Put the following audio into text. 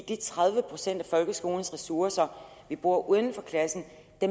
de tredive procent af folkeskolens ressourcer vi bruger uden for klassen